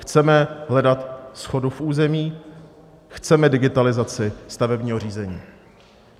Chceme hledat shodu v území, chceme digitalizaci stavebního řízení.